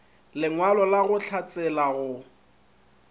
lengwalo la go hlatsela go